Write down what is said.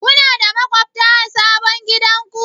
Kuna da maƙwabta a sabon gidanku?